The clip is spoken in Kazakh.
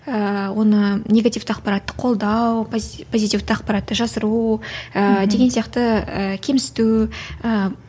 ыыы оны негативті ақпаратты қолдау позитивті ақпаратты жасыру ыыы деген сияқты ы кемсіту ыыы